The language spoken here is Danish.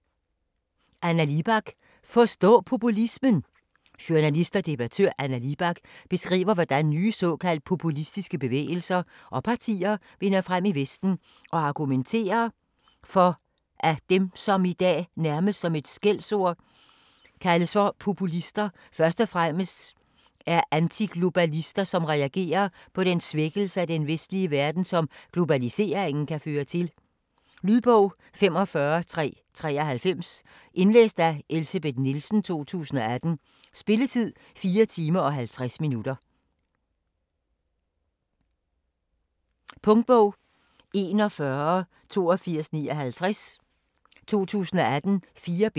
Libak, Anna: Forstå populismen! Journalist og debattør Anna Libak beskriver hvordan nye såkaldt populistiske bevægelser og partier vinder frem i Vesten og argumenterer for at dem som i dag - nærmest som et skældsord - kaldes for populister, først og fremmest er antiglobalister som reagerer på den svækkelse af den vestlige verden, som globaliseringen kan føre til. Lydbog 45393 Indlæst af Elsebeth Nielsen, 2018. Spilletid: 4 timer, 50 minutter. Punktbog 418259 2018. 4 bind.